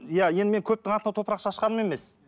иә енді мен көптің атына топырақ шашқаным емес